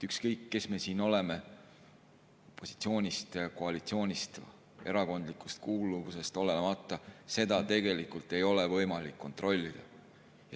Ükskõik, kes me siin oleme, opositsioonist, koalitsioonist, erakondlikust kuuluvusest olenemata, seda tegelikult ei ole võimalik kontrollida.